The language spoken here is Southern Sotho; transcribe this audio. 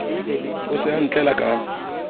o se o ntlela ka